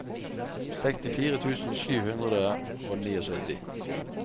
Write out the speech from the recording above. sekstifire tusen sju hundre og syttini